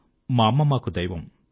మా అమ్మ మాకు దైవం